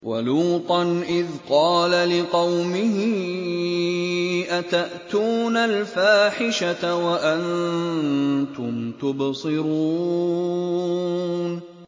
وَلُوطًا إِذْ قَالَ لِقَوْمِهِ أَتَأْتُونَ الْفَاحِشَةَ وَأَنتُمْ تُبْصِرُونَ